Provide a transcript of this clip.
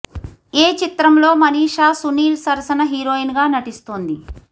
ఏ చిత్రం లో మనీషా సునీల్ సరసన హీరోయిన్ గా నటిస్తోంది